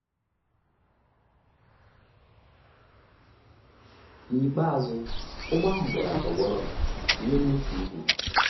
N’ikpeazụ, ụgbọ ahụ bịara tọgbọrọ n’elu otu ugwu.